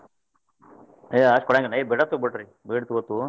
ಹೇ ಅಷ್ಟ್ ಕೊಡಂಗಿಲ್ಲ ಹೇ ಬಿಟ್ಟಾಕ್ ಬಿಡ್ರಿ ಬೇಡ್ ಬೇಕು.